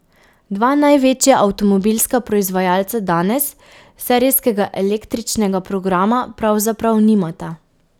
Dva največja avtomobilska proizvajalca danes serijskega električnega programa pravzaprav nimata.